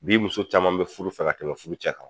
Bi muso caman be furu fɛ ka tɛmɛ furucɛ kan.